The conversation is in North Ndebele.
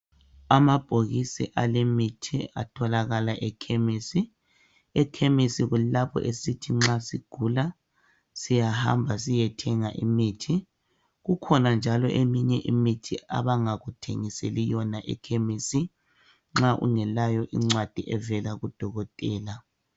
Amabhokisi alemithi atholakala ekhemisi. Ekhemisi kulapho esithi nxa sigula siyahamba siyethenga imithi. Kukhona njalo eminye imithi abangakuthengiseli yona ekhemisi nxa ungelayo incwadi evela kudokotela.